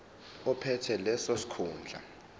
ophethe leso sikhundla